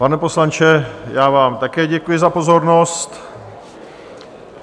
Pane poslanče, já vám také děkuji za pozornost.